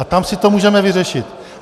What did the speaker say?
A tam si to můžeme vyřešit.